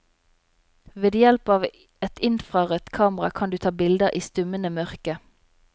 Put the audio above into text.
Ved hjelp av et infrarødt kamera kan du ta bilder i stummende mørke.